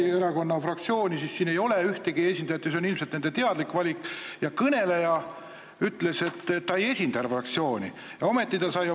Nagu juba mitu korda märgitud: te võite öelda, et me oleme heausksed, te võite öelda, et see on valimispropaganda või mida iganes, aga ma siiski kinnitan, et vesteldes Keeleinspektsiooni peadirektoriga me tõesti leidsime, et sunniraha ülemmäär on ajale jalgu jäänud.